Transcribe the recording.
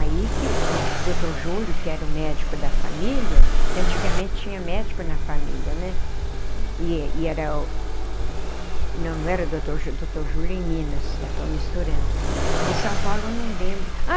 Aí que o doutor Júlio, que era o médico da família, que antigamente tinha médico na família né e e era, não não era doutor Júlio doutor Júlio é em Minas, já estou misturando, em São Paulo não lembro ah.